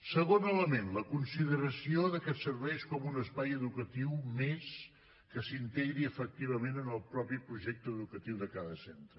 segon element la consideració de que serveix com un espai educatiu més que s’integri efectivament en el propi projecte educatiu de cada centre